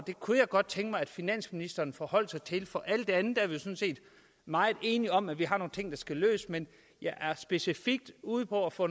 kunne godt tænke mig at finansministeren forholdt sig til det for alt det andet er vi meget enige om at vi har nogle ting der skal løses men jeg er specifikt ude på at få